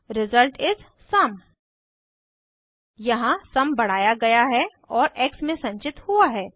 result इस sum यहाँ sum बढ़ाया गया है और एक्स में संचित हुआ है